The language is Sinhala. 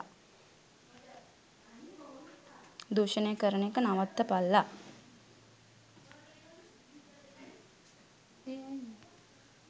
දූෂණය කරන එක නවත්තපල්ලා.